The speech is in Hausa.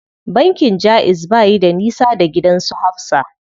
Bankin jaiz bayi da nisa da gidan su Hafsa.